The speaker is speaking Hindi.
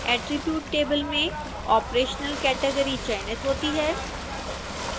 attribute table में operational category चयनित होती हैं